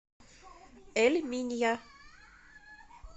эль минья